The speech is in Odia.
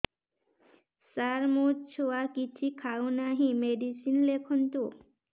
ସାର ମୋ ଛୁଆ କିଛି ଖାଉ ନାହିଁ ମେଡିସିନ ଲେଖନ୍ତୁ